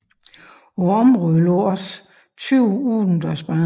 På området lå også 20 udendørsbaner